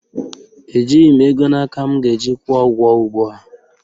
Ejighị m ego na aka m ga-eji kwụọ ụgwọ ugbua